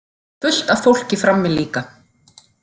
Fullt af fólki frammi líka.